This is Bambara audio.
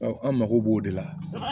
Ɔ an mago b'o de la